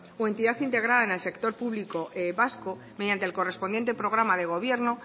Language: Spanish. o entidad integrada en el sector público vasco mediante el correspondiente programa de gobierno